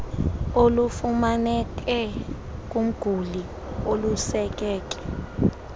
olufumaneke kumguli olusekeke